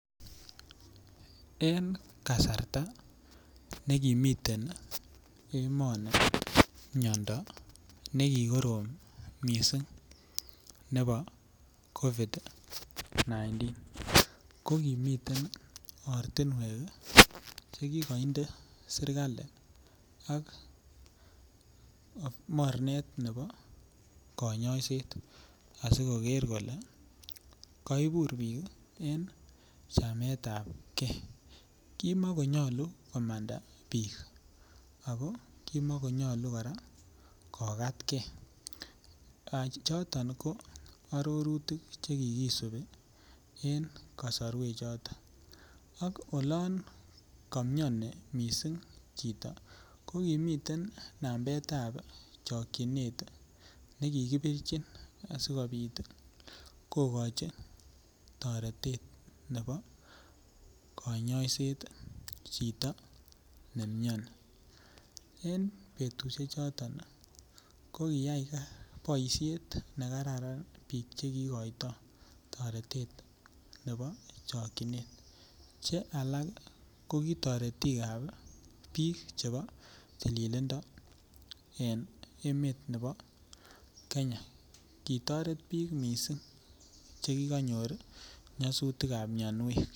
En kasarta ne kimiten emoni miando nekikorom mising nebo covid 19 ko kimiten ortinwek Che kikoinde serkali ak mornet nebo kanyoiset asi koker kole kaibur bik en chamet ab ge kimakonyolu komanda bik ak kimakonyolu kora kokatge choton ko arorutik Che kikisibi en kasarwechoto ak olon mioni soiti chito ko miten nambetab chokyinet nekikibirchin asikobit toretet nebo kanyoiset chito ne mioni en betusiechoto ko kiyai boisiet nekaran bik Che kigotoi toretet nebo chokyinet Che alak ko ki toretik ab bikap tililindo en emet nebo Kenya kitoret bik kot mising Che ki kanyor nyasutikab mianwek